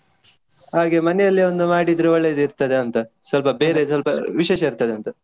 ಹಾಗೆ ಮನೆಯಲ್ಲಿ ಒಂದು ಮಾಡಿದ್ರೆ ಒಳ್ಳೇದ್ ಇರ್ತದೆ ಅಂತ, ಸ್ವಲ್ಪ ಬೇರೆ ಸ್ವಲ್ಪ ವಿಶೇಷ ಇರ್ತದೆ ಅಂತ.